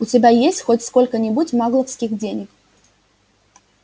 у тебя есть хоть сколько-нибудь магловских денег